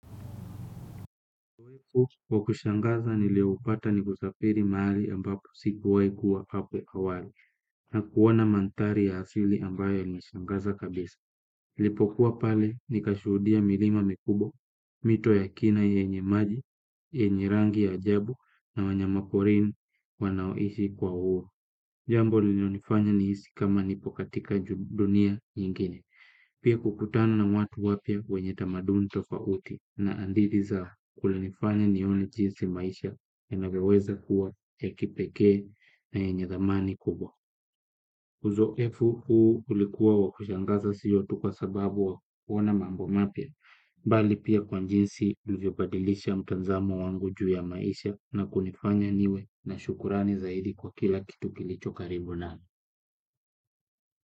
Wa kushangaza nilioupata ni kusafiri mahali ambapo sikuwahi kuwa hapo awali na kuona mandhari ya asili ambayo yalinishangaza kabisa. Nilipokuwa pale nikashuhudia milima mikubwa, mito ya kina yenye maji yenye rangi ya ajabu na wanyama porini wanaoishi kwa huo jambo lililonifanya nihisi kama nipo katika dunia nyingine. Pia kukutana na watu wapya wenye tamaduni tofauti na hadithi zao kulinifanya nione jinsi maisha yanavyoweza kuwa ya kipekee na yenye thamani kubwa. Uzoefu huu ulikuwa wa kushangaza siyo tu kwa sababu wa kuona mambo mapya, bali pia kwa jinsi ulivyobadilisha mtazamo wangu juu ya maisha na kunifanya niwe na shukrani zaidi kwa kila kitu kilicho karibu nami.